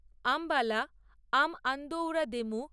আম্বালা আম আন্দোউরা দেমু